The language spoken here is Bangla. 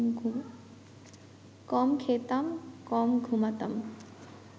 কম খেতাম, কম ঘুমাতাম